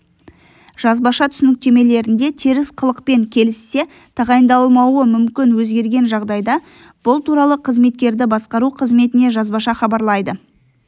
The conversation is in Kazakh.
жазбаша түсініктемелерінде теріс қылықпен келіссе тағайындалмауы мүмкін өзгерген жағдайда бұл туралы қызметкерді басқару қызметіне жазбаша хабарлайды